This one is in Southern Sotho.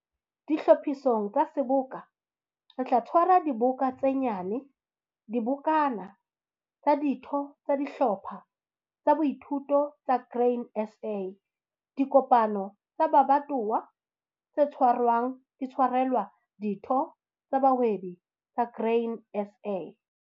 Ditlhophisong tsa Seboka, re tla tshwara diboka tse nyane, dibokana, tsa ditho tsa dihlopha tsa boithuto tsa Grain SA - dikopano tsa mabatowa tse tshwarwang di tshwarelwa ditho tsa bahwebi tsa Grain SA.